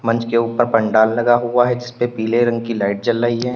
मंच के ऊपर पंडाल लगा हुआ है जीसपे पीले रंग की लाइट जल रही है।